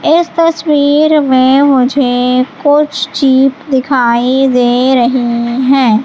इस तस्वीर में मुझे कुछ चीज दिखाई दे रही हैं।